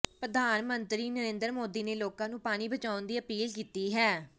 ਪ੍ਰਧਾਨ ਮੰਤਰੀ ਨਰਿੰਦਰ ਮੋਦੀ ਨੇ ਲੋਕਾਂ ਨੂੰ ਪਾਣੀ ਬਚਾਉਣ ਦੀ ਅਪੀਲ ਕੀਤੀ ਹੈ